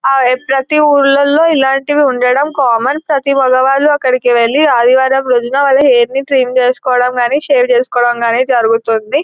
ప్రతీ ఊర్లల్లో ఇలాంటివి ఉండడం కామన్ ప్రతీ మగవాళ్ళు అక్కడికి వెళ్లి ఆదివారం రోజున వాళ్ళ హెయిర్ ని ట్రిమ్ చేసుకోవడం గాని సేవ్ చేసుకోవడం గాని జరుగుతుంది.